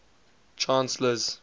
chancellors